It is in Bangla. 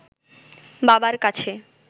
বাবার কাছে